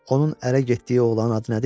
Onun ərə getdiyi oğlanın adı nədir?